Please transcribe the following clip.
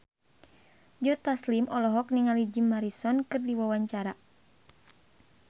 Joe Taslim olohok ningali Jim Morrison keur diwawancara